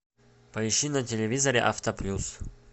поищи на телевизоре авто плюс